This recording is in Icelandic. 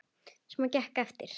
Sem gekk eftir.